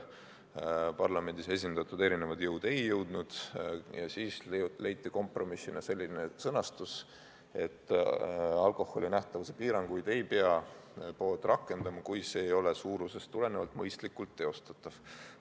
Parlamendis esindatud erinevad jõud selles kokkuleppele ei jõudnud ja siis leiti kompromissina selline sõnastus, et alkoholi nähtavuse piiranguid ei pea pood rakendama, kui see ei ole suurusest tulenevalt mõistlikult teostatav.